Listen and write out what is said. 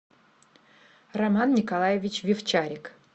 роман николаевич вивчарик